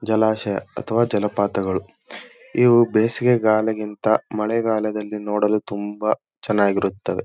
ಜಲಾಶಯ ಅಥವಾ ಜಲಪಾತಗಳು ಇವು ಬೇಸಿಗೆಗಾಲಗಿಂತ ಮಳೆಗಾಲದಲ್ಲಿ ನೋಡಲು ತುಂಬಾ ಚೆನ್ನಾಗಿರಿತ್ತವೆ.